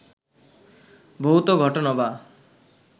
ভৌত ঘটনা বা